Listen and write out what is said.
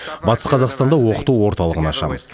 батыс қазақстанда оқыту орталығын ашамыз